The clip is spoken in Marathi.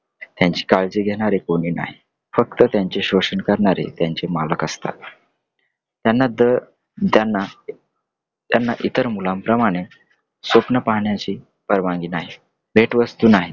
त्यांची काळजी करणारे कोणी नाही . फक्त त्यांचे शोषण करणारे त्यांचे मालक असतात . त्यांना द अं त्यांना इतर मुलांप्रमाणे स्वप्न पाहण्याची परवानगी नाही , भेटवस्तू नाही.